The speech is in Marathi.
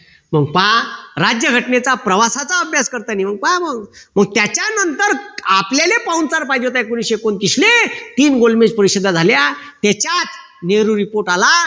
मग पहा राज्यघटनेचा प्रवासाचा अभ्यास करताना मग पहा मग मग त्याच्यानंतर आपल्याले पाहुणचार पाहिजे होता एकोणतीशे एकोणतीसले तीन गोलबेज परिषदा झाल्या त्याच्यात नेहरू report आला